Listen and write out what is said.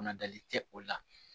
Kunadali tɛ o la